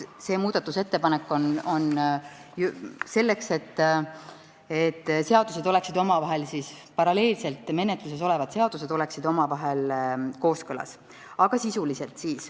See muudatusettepanek on esitatud selleks, et paralleelselt menetluses olevad eelnõud oleksid omavahel kooskõlas.